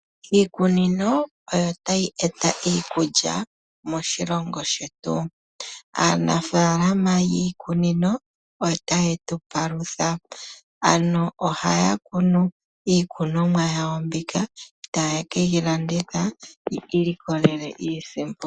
Iikunino oyo tayi eta iikulya moshilongo shetu, aaanafalama yiikunino otaye tu palutha, ano ohaya kunu iikonomwa yawo mbika etaye ke yi landitha yiilikolele iisimpo.